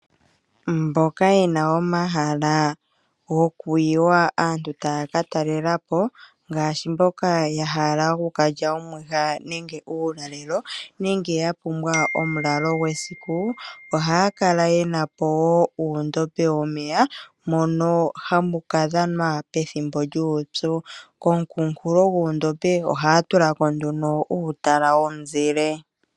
Mboka yena omahala gokuyiwa aantu taya ka talela po ngaashi, mboka yahala okukalya omwiha nenge uulalelo nenge yapumbwa omulalo gwesiku, ohaya kala yena po wo uundombe womeya mono hamu kadhanwa pethimbo lyuupyu, komukunkulo gondombe ohaya tulako nduno uutala womuzile.